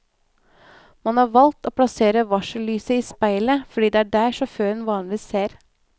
Man har valgt å plassere varsellyset i speilet fordi det er der sjåføren vanligvis ser.